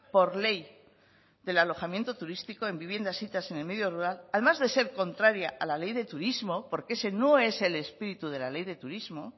por ley del alojamiento turístico en viviendas sitas en el medio rural además de ser contraria a la ley de turismo porque ese no es el espíritu de la ley de turismo